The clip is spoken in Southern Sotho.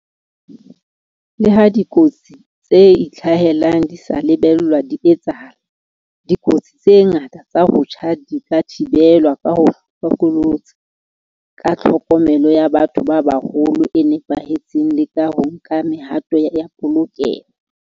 Le ha dikotsi tse itlhahelang di sa lebellwa di etsahala, dikotsi tse ngata tsa ho tjha di ka thibelwa ka ho ba hlokolosi, ka tlhokomelo ya batho ba baholo e nepahetseng le ka ho nka mehato ya polokeho.